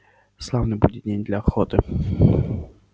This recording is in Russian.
славный будет день для охоты